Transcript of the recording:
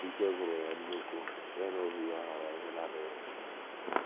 Íkē gwụrụ yá nnukwu, ya na ọhụụ yá ghọrọ ihe na-adịghị mma